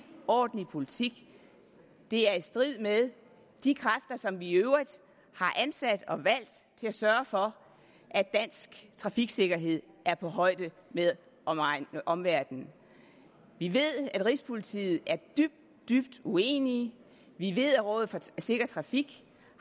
ordentlig politik det er i strid med de kræfter som vi i øvrigt har ansat og valgt til at sørge for at dansk trafiksikkerhed er på højde med omverdenens vi ved at rigspolitiet er dybt dybt uenige vi ved at rådet for sikker trafik